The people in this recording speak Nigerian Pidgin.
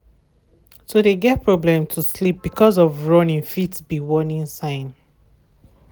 to de get problem to sleep because of running fit be warning sign.